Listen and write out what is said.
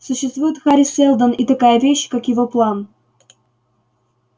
существует хари сэлдон и такая вещь как его план